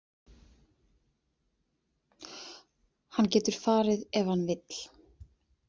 Hann getur farið ef hann vill.